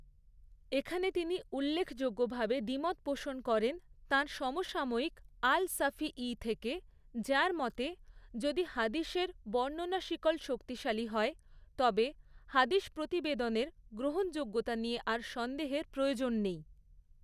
এখানে তিনি উল্লেখযোগ্যভাবে দ্বিমত পোষণ করেন তাঁর সমসাময়িক আল শাফী ঈ থেকে, যাঁর মতে, যদি হাদীসের বর্ণনা শিকল শক্তিশালী হয়, তবে হাদীস প্রতিবেদনের গ্ৰহণযোগ্যতা নিয়ে আর সন্দেহের প্রয়োজন নেই।